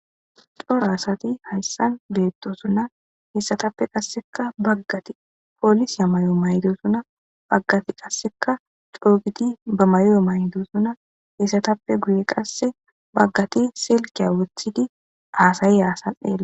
C'ora asati haysan betosona heysatape qaseka bagati police mayo maydosona hankoti qase c'o'u gidi banta ma'o ma'idosona heysatapeka guyen qase bagati sulkiya wotidi hasayiya asa xelaysi.